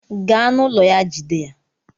Gaa na ụlọ ya Jide ya!